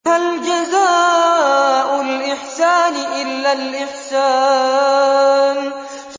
هَلْ جَزَاءُ الْإِحْسَانِ إِلَّا الْإِحْسَانُ